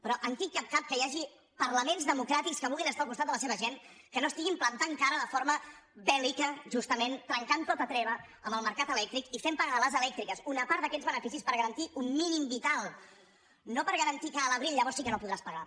però en quin cap cap que hi hagi parlaments democràtics que vulguin estar al costat de la seva gent que no estiguin plantant cara de forma bèl·lica justament trencant tota treva amb el mercat elèctric i fent pagar a les elèctriques una part d’aquests beneficis per garantir un mínim vital no per garantir que a l’abril llavors sí que no podràs pagar